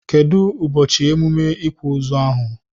Kedu ụbọchị emume ikwa ozu ahụ?